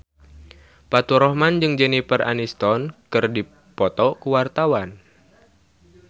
Faturrahman jeung Jennifer Aniston keur dipoto ku wartawan